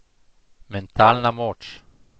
Mentalna moč.